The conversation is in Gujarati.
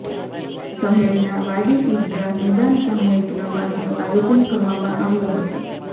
શહેરના વાડી ઇદગાહ મેદાન સામુહિક નમાજનું આયોજન કરવામાં આવ્યું હતું